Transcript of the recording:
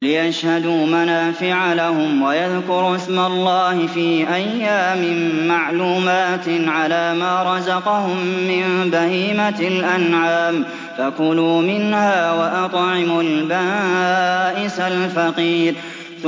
لِّيَشْهَدُوا مَنَافِعَ لَهُمْ وَيَذْكُرُوا اسْمَ اللَّهِ فِي أَيَّامٍ مَّعْلُومَاتٍ عَلَىٰ مَا رَزَقَهُم مِّن بَهِيمَةِ الْأَنْعَامِ ۖ فَكُلُوا مِنْهَا وَأَطْعِمُوا الْبَائِسَ الْفَقِيرَ